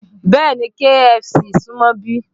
Bẹ́ẹ̀ni, KFC súmọ́ ibí